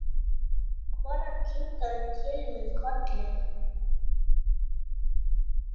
Konan kinkar til mín kolli.